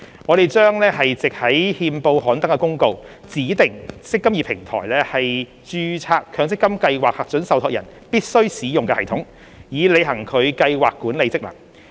我們將藉於憲報刊登的公告，指定"積金易"平台為註冊強積金計劃核准受託人必須使用的系統，以履行其計劃管理職能。